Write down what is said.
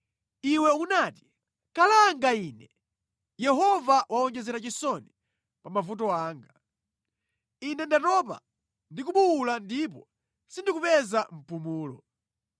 Iwe unati, ‘Kalanga ine! Yehova wawonjezera chisoni pa mavuto anga. Ine ndatopa ndi kubuwula ndipo sindikupeza mpumulo.’ ”